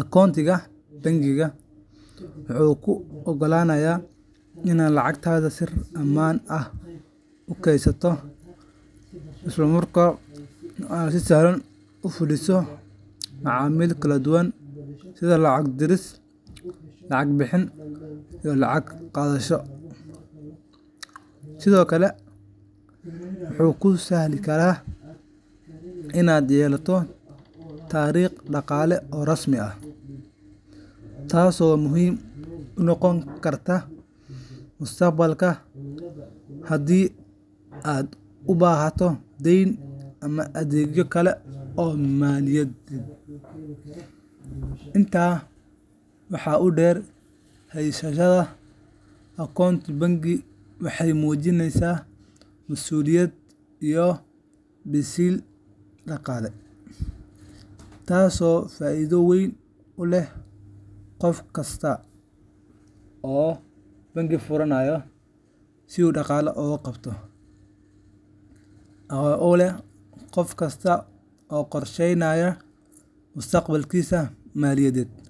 Akoontiga bangiga wuxuu kuu oggolaanayaa inaad lacagtaada si ammaan ah u kaydiso, isla markaana aad si sahlan ugu fuliso macaamil kala duwan sida lacag diris, lacag bixin, iyo lacag qaadasho. Sidoo kale, wuxuu kuu sahli karaa inaad yeelato taariikh dhaqaale oo rasmi ah, taasoo muhiim u noqon karta mustaqbalka haddii aad u baahato deyn ama adeegyo kale oo maaliyadeed. Intaa waxaa dheer, haysashada akoonto bangi waxay muujinaysaa mas’uuliyad iyo biseyl dhaqaale, taasoo faa’iido weyn u leh qof kasta oo qorsheynaya mustaqbalkiisa maaliyadeed.